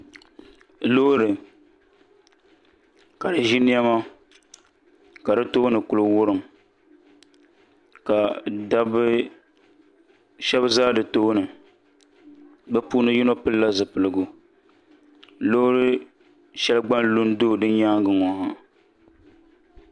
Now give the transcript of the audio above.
Loori ka di ʒi niɛma ka di tooni ku wurim ka dabba shab ʒɛ di tooni bi puuni yino pilila zipiligu Loori shɛli gba n lu n do di nyaangi ŋɔ ha